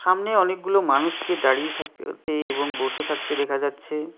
সামনে অনেকগুলো মানুষকে দাঁড়িয়ে থাক তে এবং বসে থাকতে দেখা যাচ্ছে।